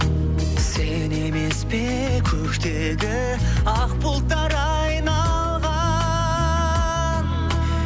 сен емес пе көктегі ақ бұлттар айналған